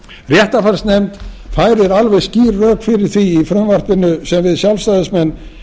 réttarfarsnefnd færir alveg skýr rök fyrir því í frumvarpinu sem við sjálfstæðismenn